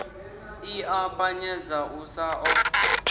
ḽi ṱapanyedza u sa ḓo